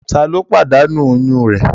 Tá ló pàdánù oyún rẹ̀?